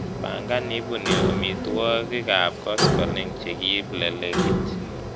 Bangan iibuni amitwogikab koskolik chekiib lelekit